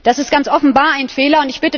Das ist ganz offenbar ein Fehler.